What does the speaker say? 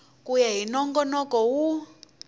ku ya hi nongonoko wun